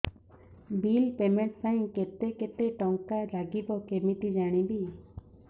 bill payment ପାଇଁ କେତେ କେତେ ଟଙ୍କା ଲାଗିବ କେମିତି ଜାଣିବି